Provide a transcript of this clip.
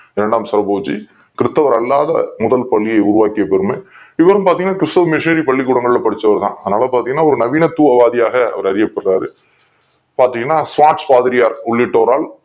இரண்டாம் சரபோஜி கிறிஸ்தவர் அல்லாத முதல் பள்ளியை உருவாக்கிய பெருமை கொண்டவர் இவரும் பார்த்தீங்கன்னா கிறிஸ்துவ மிஷினரி பள்ளிகளில் படிச்சவர் தான் அதனால பார்த்தீங்கன்னா ஒரு நவீனத்துவவாதியாக அறியப்படுகிறார் பாத்தீங்கன்னா பாதிரியார் உள்ளிட்டவர்களால்